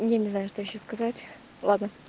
я не знаю что ещё сказать ладно